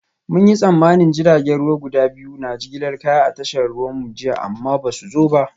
Mun yi tsammanin jiragen ruwa guda biyu na jigilar kaya a tashar ruwanmu jiya amma ba su zo ba